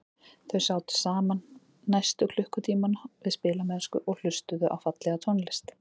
Þau sátu saman næstu klukkutímana við spilamennsku og hlustuðu á fallega tónlist.